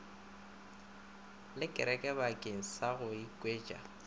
lelekere bakeng sa go oketša